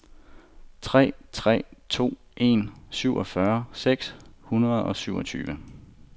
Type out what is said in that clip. tre tre to en syvogfyrre seks hundrede og syvogtyve